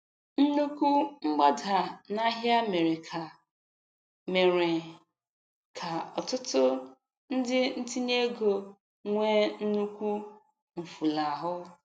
Nnukwu mgbada n'ahịa mere ka mere ka ọtụtụ ndị ntinyeego nwee nnukwu mfulahụ.